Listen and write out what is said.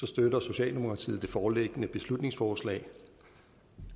støtter socialdemokratiet det foreliggende beslutningsforslag